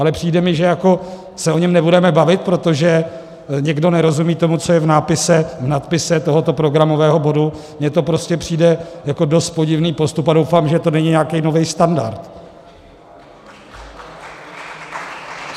Ale přijde mi, že jako se o něm nebudeme bavit, protože někdo nerozumí tomu, co je v nadpise tohoto programového bodu, mně to prostě přijde jako dost podivný postup a doufám, že to není nějaký nový standard.